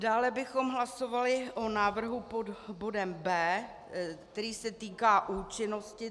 Dále bychom hlasovali o návrhu pod bodem B, který se týká účinnosti.